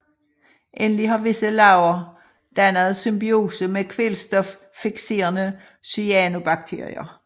Endelig har visse laver dannet symbiose med kvælstoffikserende cyanobakterier